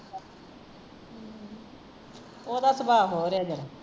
ਓਹਦਾ ਸੁਬਾਹ ਹੋਰ ਐ ਜ਼ਰਾ